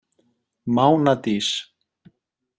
Mánadís